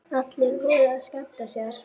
Allir voru að skemmta sér.